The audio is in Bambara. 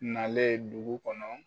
Nalen dugu kɔnɔ